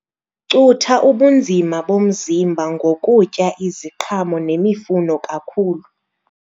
Cutha ubunzima bomzimba ngokutya iziqhamo nemifuno kakhulu.